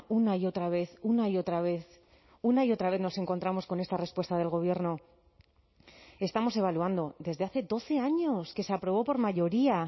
una y otra vez una y otra vez una y otra vez nos encontramos con esta respuesta del gobierno estamos evaluando desde hace doce años que se aprobó por mayoría